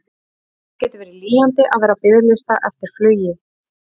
Það getur verið lýjandi að vera á biðlista eftir flugi.